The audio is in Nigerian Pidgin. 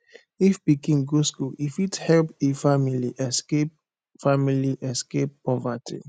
if pikin go school e fit help e family escape family escape poverty